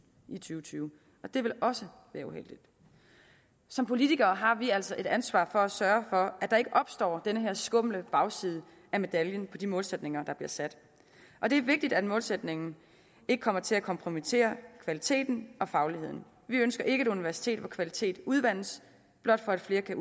og tyve og det vil også være uheldigt som politikere har vi altså et ansvar for at sørge for at der ikke opstår den her skumle bagside af medaljen for de målsætninger der bliver sat og det er vigtigt at målsætningen ikke kommer til at kompromittere kvaliteten og fagligheden vi ønsker ikke et universitet hvor kvaliteten udvandes blot for at flere kan